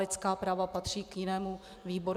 Lidská práva patří k jinému výboru.